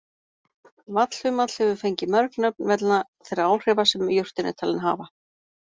Vallhumall hefur fengið mörg nöfn vegna þeirra áhrifa sem jurtin er talin hafa.